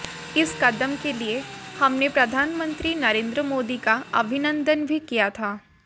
इस कदम के लिए हमने प्रधानमंत्री नरेंद्र मोदी का अभिनंदन भी किया था